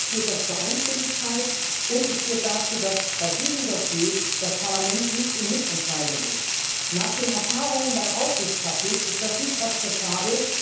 Im Rat führt das zu Einstimmigkeit und es führt dazu, dass bei diesem Dossier das Parlament nicht im Mitentscheidungsverfahren beteiligt ist. Nach den Erfahrungen beim Aufsichtspaket ist das nicht akzeptabel.